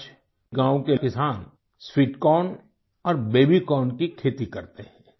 आज गाँव के किसान स्वीट कॉर्न और बेबी कॉर्न की खेती करते हैं